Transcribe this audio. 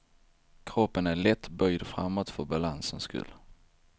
Kroppen är lätt böjd framåt för balansens skull.